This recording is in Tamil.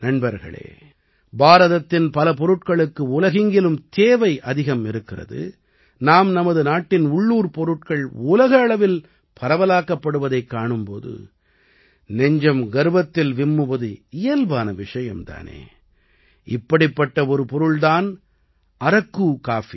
நண்பர்களே பாரதத்தின் பல பொருட்களுக்கு உலகெங்கிலும் தேவை அதிகம் இருக்கிறது நாம் நமது நாட்டின் உள்ளூர்ப் பொருட்கள் உலக அளவில் பரவலாக்கப்படுவதைக் காணும் போது நெஞ்சம் கர்வத்தில் விம்முவது இயல்பான விஷயம் தானே இப்படிப்பட்ட ஒரு பொருள் தான் அரக்கு காப்பி